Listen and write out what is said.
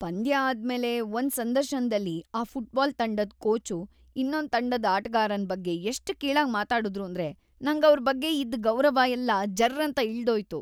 ಪಂದ್ಯ ಆದ್ಮೇಲೆ ಒಂದ್ ಸಂದರ್ಶನ್ದಲ್ಲಿ ‌ಆ ಫುಟ್ಬಾಲ್ ತಂಡದ್ ಕೋಚು ಇನ್ನೊಂದ್ ತಂಡದ್ ಆಟ್ಗಾರನ್ ಬಗ್ಗೆ ಎಷ್ಟ್ ಕೀಳಾಗ್‌ ಮಾತಾಡುದ್ರು ಅಂದ್ರೆ ನಂಗವ್ರ್‌ ಬಗ್ಗೆ ಇದ್ದ್‌ ಗೌರವ ಎಲ್ಲ ಜರ್ರಂತ ಇಳ್ದೋಯ್ತು.